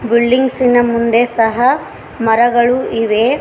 ಬಿಲ್ಡಿಂಗ್ಸಿ ನ ಮುಂದೆ ಸಹ ಮರಗಳು ಇವೆ.